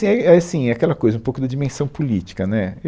E aí, é assim, é aquela coisa, um pouco da dimensão política, né